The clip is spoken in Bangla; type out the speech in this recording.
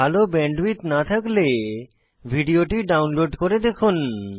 ভাল ব্যান্ডউইডথ না থাকলে ভিডিওটি ডাউনলোড করে দেখুন